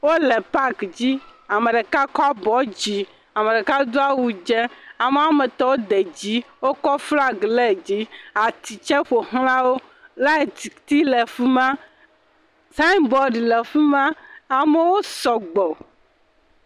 Wole paki dzi ame ɖeka kɔ abɔ dzi ame ɖeka do awu dzɛ ame woame tɔ wo de dzi wokɔ flagi le dzi ati tse ƒoxla wo lighti ti le fi ma, sign board le fi ma amewo sɔgbɔ.